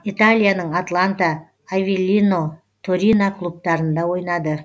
италияның атланта авеллино торино клубтарында ойнады